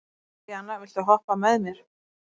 Emelíana, viltu hoppa með mér?